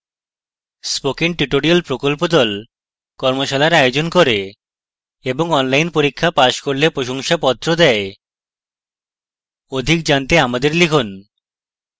spoken tutorial প্রকল্প the কর্মশালার আয়োজন করে এবং online পরীক্ষা পাস করলে প্রশংসাপত্র দেওয়া হয় অধিক জানতে আমাদের লিখুন